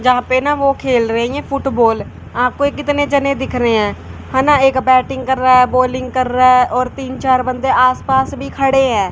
यहां पे ना वो खेल रही हैं फुटबॉल आपको कितने जने दिख रहे हैं है ना एक बैटिंग कर रहा है बॉलिंग कर रहा है और तीन चार बंदे आसपास भी खड़े हैं।